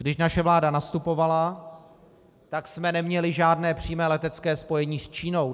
Když naše vláda nastupovala, tak jsme neměli žádné přímé letecké spojení s Čínou.